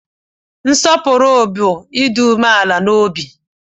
Nsopuru bu Ịdị umeala n'obi